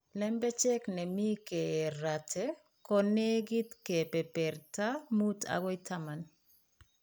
Lembech ne mi keeraate ko negit kepeperta 5 akoi 10.